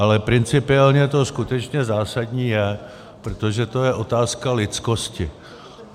Ale principiálně to skutečně zásadní je, protože to je otázka lidskosti.